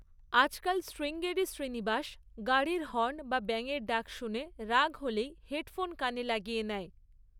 আজকাল শ্রীঙ্গেরি শ্রীনিবাস গাড়ির হর্ন বা ব্যাঙের ডাক শুনে রাগ হলেই হেডফোন কানে লাগিয়ে নেয়।